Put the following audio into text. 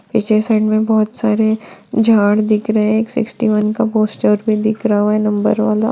पीछे साइड में बहुत सारे झाड़ दिख रहे है एक सिक्सटी वन का पोस्टर भी दिख रहा है नंबर वाला।